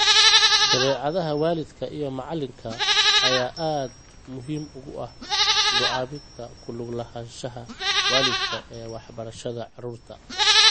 Dabeecadaha waalidka iyo macalinka ayaa aad muhiim ugu ah go'aaminta ku lug lahaanshaha waalidka ee waxbarashada caruurta.